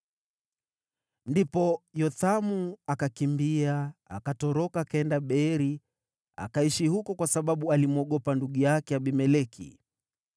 Ndipo Yothamu akakimbia, akatoroka akaenda Beeri, akaishi huko, kwa sababu alimwogopa ndugu yake Abimeleki.